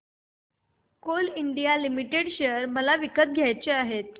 Coal India Limited share मला विकत घ्यायचे आहेत